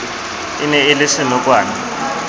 e ne e le senokwane